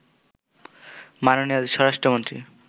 মাননীয় স্বরাষ্ট্রমন্ত্রী